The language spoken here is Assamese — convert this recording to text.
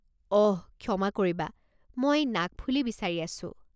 অহ, ক্ষমা কৰিবা, মই নাকফুলি বিচাৰি আছো।